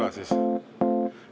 Ma küsin siis üle.